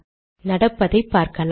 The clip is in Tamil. நடப்பதை பார்க்கலாம்